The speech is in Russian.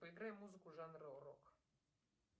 поиграй музыку жанра рок